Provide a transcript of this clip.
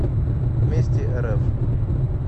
вместе рф